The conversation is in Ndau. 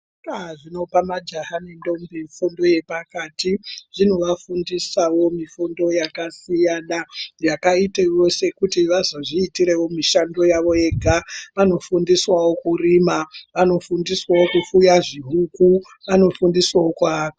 Zvikora zvinopa majaha nendombi fundo yepakati, zvinovafundisawo mifundo yakasiyana, yakaitewo kuti vazozviitirewo mishando yavo vega. Vanofundiswawo kurima, vanofundiswawo kufuya zvihuku , vanofundiswawo kuaka.